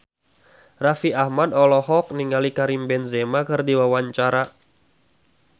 Raffi Ahmad olohok ningali Karim Benzema keur diwawancara